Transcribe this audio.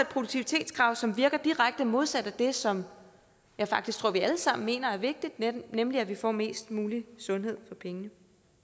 produktivitetskrav som virker direkte modsat af det som jeg faktisk tror vi alle sammen mener er vigtigt nemlig at vi får mest mulig sundhed for pengene